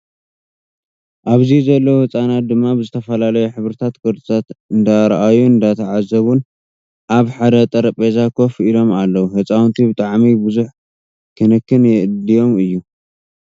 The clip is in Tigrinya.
ኣብዚ ዘለው ህፃውቲ ድማ ብዝተፈላለዩ ሕብሪታ ቅርፂታት እንዳረኣዩን እንዳዓዘቡን ኣብ ሓደ ጠሬጰዛ ኮፍ ኢሎም ኣለው። ህፃውቲ ብጣዕሚ ብዙሕ ክንክን የድዮም እዩ።